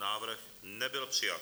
Návrh nebyl přijat.